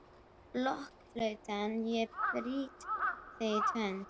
Blokkflauta, ég brýt þig í tvennt.